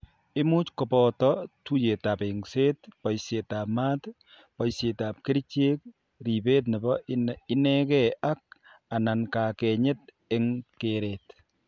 Imuch ko boto tuiyetab eng'set, boishietab maat, boishietab kerichek, ribet nebo inegee ak/anan kakenyet eng' keret.